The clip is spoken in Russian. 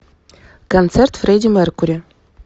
концерт фредди меркьюри